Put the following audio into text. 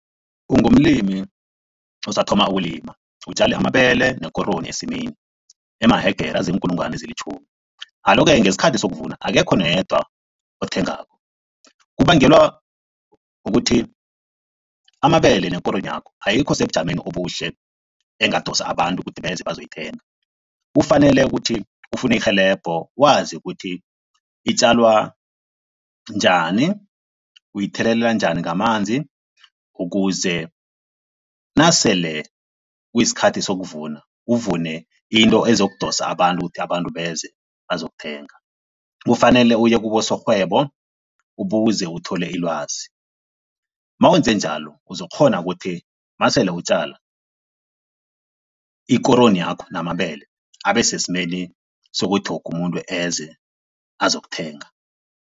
Ungumlimi osathoma ukulima, utjale amabele nekoroyi esimini emahegere aziinkulungwane ezilitjhumi, alo-ke ngesikhathi sokuvuna akekho noyedwa othengako? Kubangelwa kukuthi amabele nekoroyi yakho ayikho sebujameni obuhle engadosa abantu ukuthi beze bazoyithenga. Kufanele ukuthi ufune irhelebho, wazi ukuthi itjalwa njani, uyithelelela njani ngamanzi ukuze nasele kuyisikhathi sokuvuna, uvune into ezokudosa abantu ukuthi abantu beze bazokuthenga. Kufanele uye kubosorhwebo ubuze, uthole ilwazi. Mawenze njalo uzokukghona ukuthi masele utjala, ikoroyi yakho namabele abesesimeni sokuthi woke umuntu eze azokuthenga.